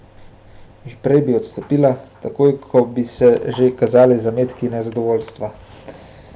Že prej bi odstopila, takoj ko bi se že kazali zametki nezadovoljstva.